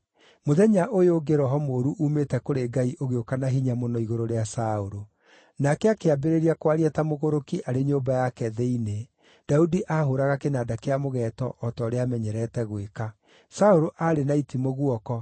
Mũthenya ũyũ ũngĩ roho mũũru uumĩte kũrĩ Ngai ũgĩũka na hinya mũno igũrũ rĩa Saũlũ. Nake akĩambĩrĩria kwaria ta mũgũrũki arĩ nyũmba yake thĩinĩ, Daudi aahũũraga kĩnanda kĩa mũgeeto, o ta ũrĩa aamenyerete gwĩka. Saũlũ aarĩ na itimũ guoko,